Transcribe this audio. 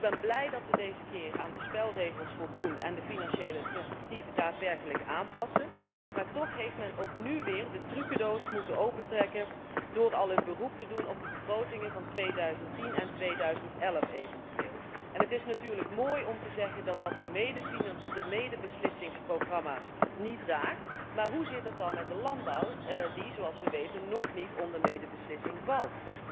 Ik ben blij dat we ons deze keer aan de spelregels houden en de financiële vooruitzichten daadwerkelijk aanpassen, maar toch heeft men ook nu weer de trukendoos moeten opentrekken door al een beroep te doen op de begrotingen van 2010 en eventueel 2011. Het is natuurlijk mooi om te zeggen dat dat de medebeslissingsprogramma's niet raakt, maar hoe zit het dan met de landbouw die, zoals we weten, nog niet onder de medebeslissing valt?